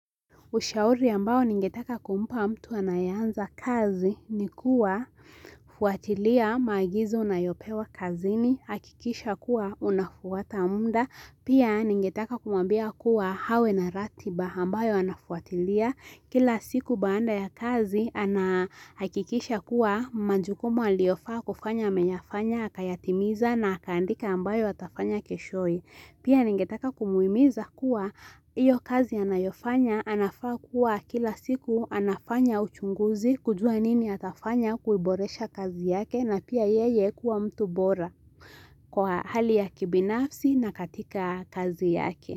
Ushauri ambao ningetaka kumpa mtu anayeanza kazi ni kuwa fuatilia maagizo unayopewa kazini, hakikisha kuwa unafuata muda. Pia ningetaka kumwambia kuwa awe na ratiba ambayo anafuatilia kila siku baada ya kazi anahakikisha kuwa majukumu aliyofaa kufanya ameyafanya, akayatimiza na akaandika ambayo atafanya keshoye. Pia ningetaka kumuhimiza kuwa hiyo kazi anayofanya anafaa kuwa kila siku anafanya uchunguzi kujua nini atafanya kuiboresha kazi yake na pia yeye kuwa mtu bora kwa hali ya kibinafsi na katika kazi yake.